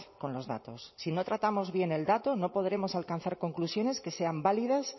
con los datos si no tratamos viene el dato no podremos alcanzar conclusiones que sean válidas